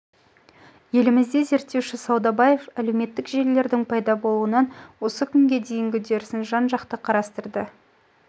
елімізде зерттеуші саудбаев әлеуметтік желілілердің пайда болуынан осы күнге дейінгі үдерісін жан-жақты қарастырды